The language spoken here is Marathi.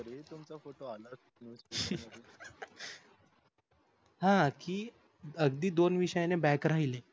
हा कि अगदी दोन विषयाने back राहिले